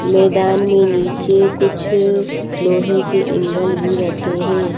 मैदान में नीचे कुछ लोहे के ऐंगल भी रखे है।